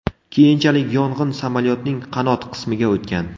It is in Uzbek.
Keyinchalik yong‘in samolyotning qanot qismiga o‘tgan.